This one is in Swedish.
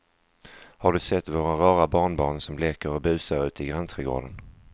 Har du sett våra rara barnbarn som leker och busar ute i grannträdgården!